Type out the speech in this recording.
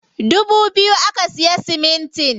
Dubu biyu aka siya siminti.